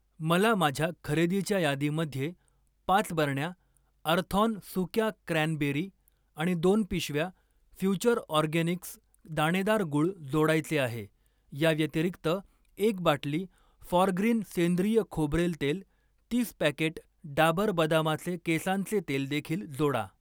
मला माझ्या खरेदीच्या यादीमध्ये पाच बरण्या अर्थॉन सुक्या क्रॅनबेरी आणि दोन पिशव्या फ्युचर ऑर्गॅनिक्स दाणेदार गूळ जोडायचे आहे. याव्यतिरिक्त, एक बाटली फॉरग्रीन सेंद्रिय खोबरेल तेल, तीस पॅकेट डाबर बदामाचे केसांचे तेल देखील जोडा.